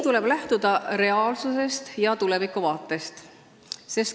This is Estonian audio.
Tuleb lähtuda reaalsusest ja tulevikuvaatest.